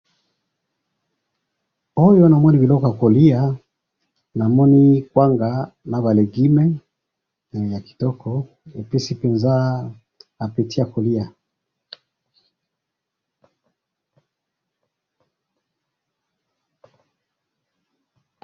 awa namoni biloko ya kolya namoni kwanga naba legume ya kitoko epesi penza appeti ya kolya